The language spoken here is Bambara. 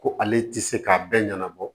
Ko ale ti se k'a bɛɛ ɲɛnabɔ